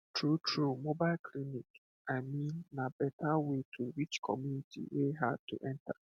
truetrue mobile clinic i mean na better way to reach community wey hard to enter